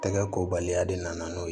Tɛgɛ ko baliya de nana n'o ye